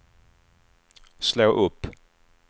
slå upp